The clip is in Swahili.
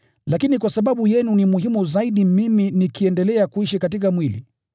Lakini kwa sababu yenu ni muhimu zaidi mimi nikiendelea kuishi katika mwili.